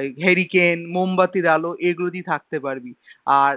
এই hurricane মোমবাতির আলো এগুলো দিয়ে থাকতে পারবি আর